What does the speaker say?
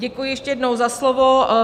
Děkuji ještě jednou za slovo.